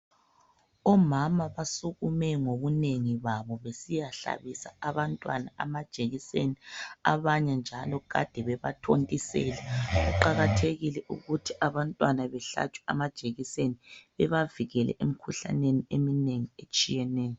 omama basukume ngobunengi kwabo besiyahlabisa abantwana amajekiseni abanye njalo kade bebathontisela kuqhakathekile ukuthi abantwana behlatshwe amajekiseni bebavikele emikhuhlaneni eminengi etshiyeneyo